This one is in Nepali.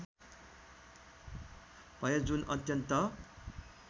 भयो जुन अत्यन्त